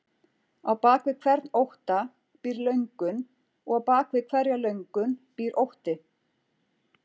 Á bak við hvern ótta býr löngun og á bak við hverja löngun býr ótti.